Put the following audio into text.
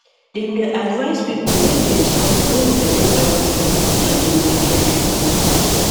dem dey advice people make dem stop when belle don full so dem go dey fit